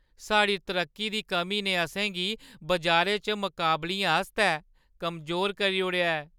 साढ़ी तरक्की दी कमी ने असें गी बजारै च मकाबलियें आस्तै कमजोर करी ओड़ेआ ऐ।